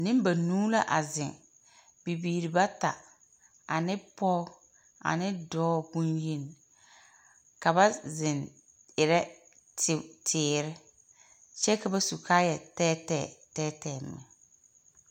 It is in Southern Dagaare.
Nembanuu la a zeŋ, bibiiri bata ane pɔɔ, ane dɔɔ bonyeni. Ka ba zeŋ erɛ teo teer, kyɛ ka ba su kaayɛtɛɛtɛɛ tɛɛtɛɛ meŋ.